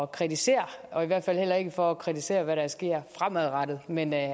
kritisere og i hvert fald heller ikke for at kritisere hvad der sker fremadrettet men at